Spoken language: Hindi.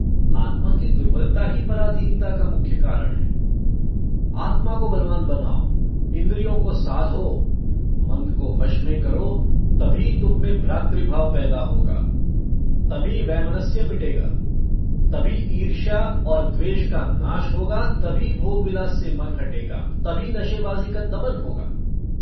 आत्मा की दुर्बलता ही पराधीनता का मुख्य कारण है आत्मा को बलवान बनाओ इन्द्रियों को साधो मन को वश में करो तभी तुममें भ्रातृभाव पैदा होगा तभी वैमनस्य मिटेगा तभी ईर्ष्या और द्वेष का नाश होगा तभी भोगविलास से मन हटेगा तभी नशेबाजी का दमन होगा।